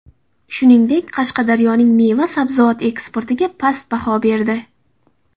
Shuningdek, Qashqadaryoning meva-sabzavot eksportiga past baho berdi .